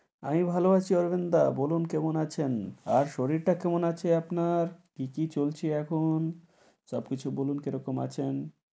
আমি ভালো আছি, অরবিন দা, বলুন কেমন আছেন? আর শরীর টা, কেমন আছে আপনার? কি কি চলছে এখন সব কিছু বলুন কি রকম আছেন?